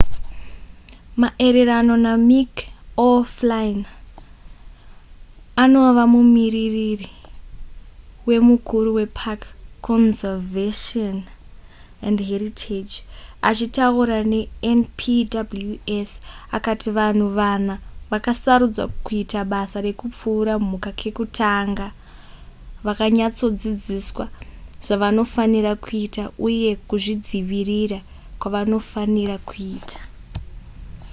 maererano namick o'flynn anova mumiririri wemukuru wepark conservation and heritage achitaura nenpws akati vanhu vana vakasarudzwa kuita basa rekupfura mhuka kekutanga vakanyatsodzidziswa zvavanofanira kuita uye kuzvidzivirira kwavanofanira kuita